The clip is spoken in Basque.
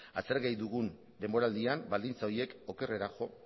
aztergai dugun denboraldian baldintza horiek okerrera jo